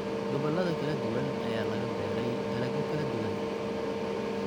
Gobollada kala duwan ayaa laga beeray dalagyo kala duwan.